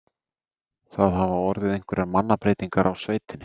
Það hafa orðið einhverjar mannabreytingar á sveitinni?